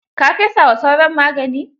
Ka fesa wa sauron magani?